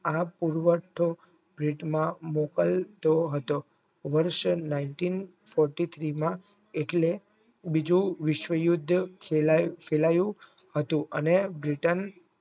આ પૂર્વસ્થ વેતમાં મોકલતો હતો વર્ષ nineteen fourty three માં એટલે બીજું વિશ્વ યુદ્ધ ફેલાયું હતું અને બ્રિટન